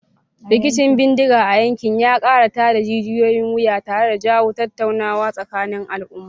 Rikicin bindiga a yankin ya kara tada jijiyoyin wuya tare da jawo tattaunawa tsakanin al'umma.